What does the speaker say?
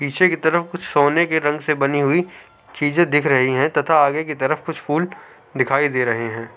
पीछे के तरफ सोने के रंग से बनी हुए चीजे दिख रही है तथा आगे तरफ कुछ फुल दिखाई दे रहे है।